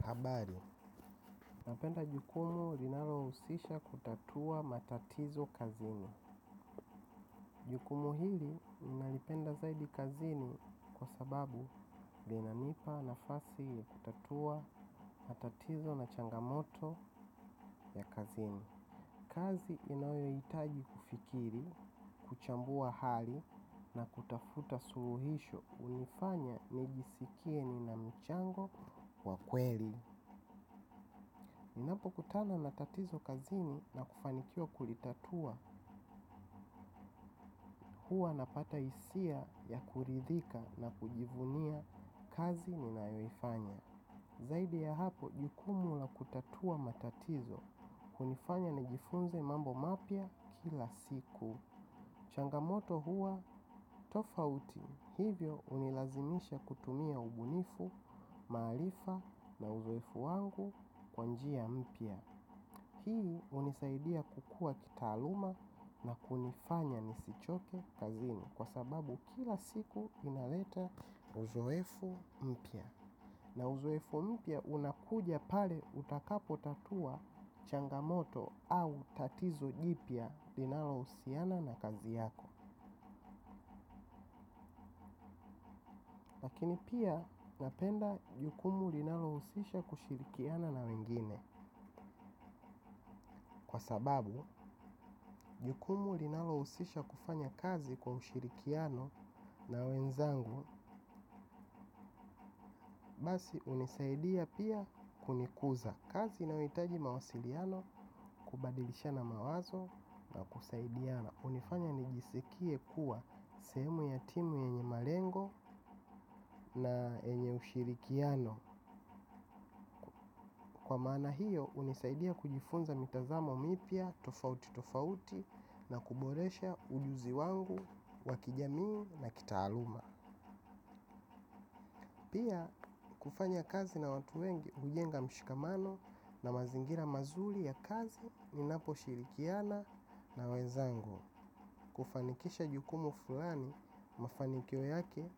Nabari, napenda jukumu linalo usisha kutatua matatizo kazini. Jukumu hili inalipenda zaidi kazini kwa sababu lina nipa nafasi ya kutatua matatizo na changamoto ya kazini. Kazi inayo itaji kufikiri, kuchambua hali na kutafuta suuhisho unifanya nijisikie ni na michango wa kweli. Ninapo kutana na tatizo kazini na kufanikiwa kulitatua, huwa napata isia ya kuridhika na kujivunia kazi ninayoifanya. Zaidi ya hapo, jukumu la kutatua matatizo, kunifanya na jifunze mambo mapya kila siku. Changamoto huwa tofauti hivyo hunilazimisha kutumia ubunifu maarifa na uzoefu wangu kwa njia mpya. Hi unisaidia kukuwa kitaaluma na kunifanya nisichoke kazini kwa sababu kila siku inaleta uzoefu mpya. Na uzoefu mpya unakuja pale utakapo tatua changamoto au tatizo jipya linalo usiana na kazi yako. Lakini pia napenda jukumu linalo usisha kushirikiana na wengine. Kwa sababu, jukumu linalo usisha kufanya kazi kwa ushirikiano na wenzangu. Basi unisaidia pia kunikuza kazi na uitaji mawasiliano kubadilisha na mawazo na kusaidiana. Unifanya nijisikie kuwa semu ya timu yenye malengo na yenye ushirikiano. Kwa maana hiyo, unisaidia kujifunza mitazamo mipya tofauti tofauti na kuboresha ujuzi wangu, wa kijamii na kitaaluma. Pia, kufanya kazi na watu wengi hujenga mshikamano na mazingira mazuli ya kazi ninapo shirikiana na wenzangu. Kufanikisha jukumu fulani, mafanikio yake,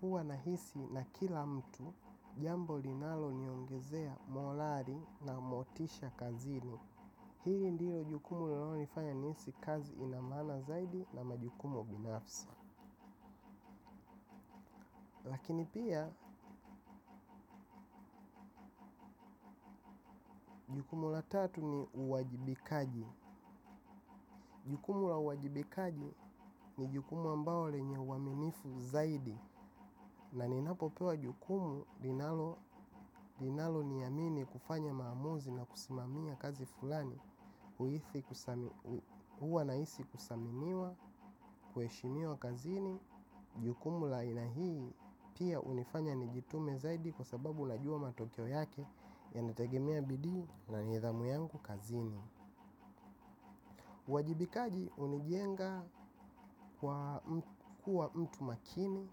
huwa nahisi na kila mtu jambo linalo niongezea morali na motisha kazini. Hili ndilo jukumu linalo nifanya niisi kazi inamaana zaidi na majukumu binafsi. Lakini pia, jukumu la tatu ni uwajibikaji. Jukumu la uwajibikaji ni jukumu ambao lenye uaminifu zaidi. Na ninapopewa jukumu linalo niyamini kufanya maamuzi na kusimamia kazi fulani. Huwa naisi kusaminiwa, kueshimiwa kazini. Jukumu la ina hii pia unifanya nijitume zaidi kwa sababu najua matokeo yake. Yana tegemea bidii na nithamu yangu kazini. Wajibikaji unijenga kuwa mtu makini.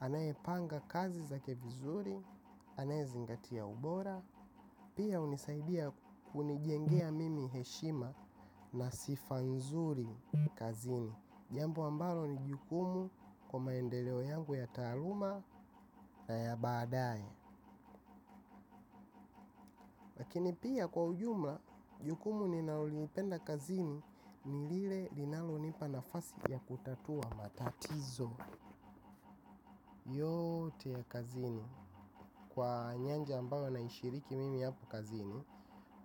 Anaepanga kazi zake vizuri. Anae zingatia ubora. Pia hunisaidia kunijengea mimi heshima na sifa nzuri kazini. Jambo ambalo ni jukumu kwa maendeleo yangu ya taaluma na ya badaye. Lakini pia kwa ujumla jukumu ninaulipenda kazini. Nilile linalo nipa nafasi ya kutatua matatizo. Yote ya kazini. Kwa nyanja ambayo naishiriki mimi yapu kazini.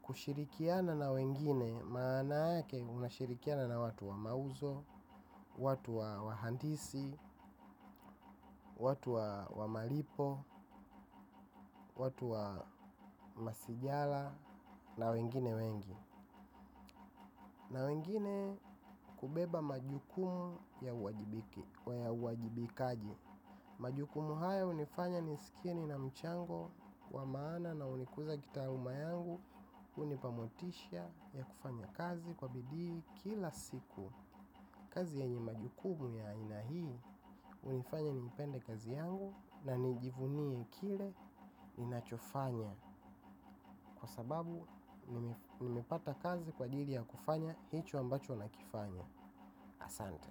Kushirikiana na wengine maana yake unashirikiana na watu wa mauzo, watu wa handisi, watu wa malipo, watu wa masijala na wengine wengi. Na wengine kubeba majukumu ya uwajibikaji. Majukumu haya unifanya nisikie ni na mchango wa maana na unikuza kitaaluma yangu. Unipamotisha ya kufanya kazi kwa bidii kila siku. Kazi yanye majukumu ya ina hii unifanya nipende kazi yangu na nijivunie kile ninachofanya. Kwa sababu nimepata kazi kwa jiri ya kufanya hicho ambacho nakifanya. Asante.